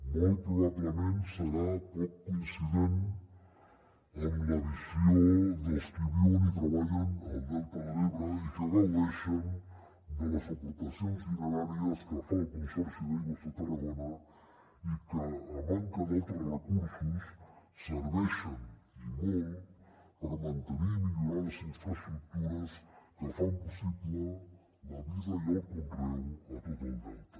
molt probablement serà poc coincident amb la visió dels qui viuen i treballen al delta de l’ebre i que gaudeixen de les aportacions dineràries que fa el consorci d’aigües de tarragona i que a manca d’altres recursos serveixen i molt per mantenir i millorar les infraestructures que fan possible la vida i el conreu a tot el delta